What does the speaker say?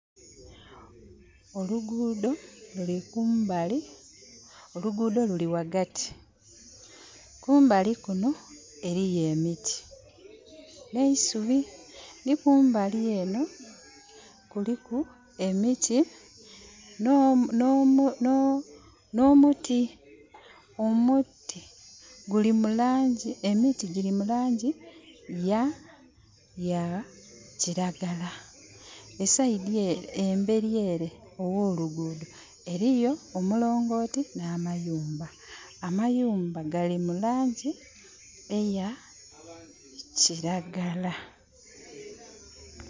Oluguudo luli kumbali, oluguudo luli ghaghati. Kumbali kuno eliyo emiti n'eisubi. Ni kumbali enho kuliku emiti n'omuti. Emiti gyiri mu laangi ya ya kiragala. Embeli ere agh'oluguudo eliyo omulongooti n'amayumba. Amayumba gali mu laangi eya kiragala.